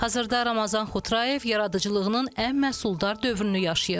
Hazırda Ramazan Xotrayev yaradıcılığının ən məhsuldar dövrünü yaşayır.